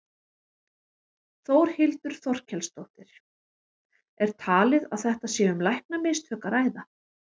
Þórhildur Þorkelsdóttir: Er talið að þetta sé um læknamistök að ræða?